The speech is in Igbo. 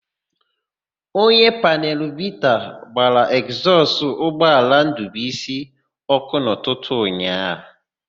Onye panelu bita gbara ekzọsụ ụgbọala Ndụbuisi ọ́kụ́ n'ụtụtụ ụnyaahụ.